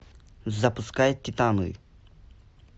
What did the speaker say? запускай титаны